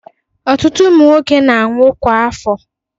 Ọtutụ ụmụ nwoke na-anwụkwa kwa afo.